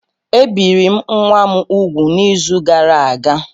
Ebiri m nwa m úgwù n'izu gara aga